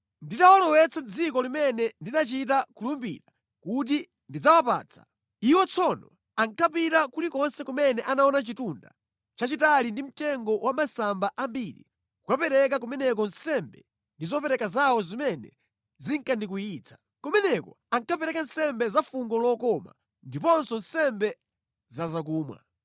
Nditawalowetsa mʼdziko limene ndinachita kulumbirira kuti ndidzawapatsa, iwo tsono ankapita kulikonse kumene anaona chitunda chachitali ndi mtengo wa masamba ambiri kukapereka kumeneko nsembe ndi zopereka zawo zimene zinkandikwiyitsa. Kumeneko ankapereka nsembe za fungo lokoma ndiponso nsembe za zakumwa.